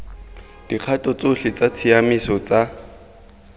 dikgato tsotlhe tsa tshiamiso tsa